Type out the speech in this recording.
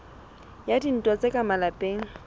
a dintwa tsa ka malapeng